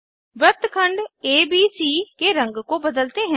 वृत्तखंड एबीसी के रंग को बदलते हैं